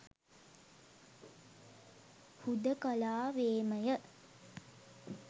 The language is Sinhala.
හුදෙකලාවේමය